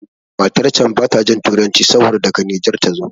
Matan can bata jin Turanci saboda daga Nijar tazo.